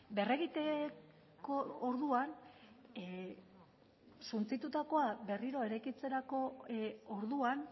berregiteko orduan suntsitutakoa berriro